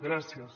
gràcies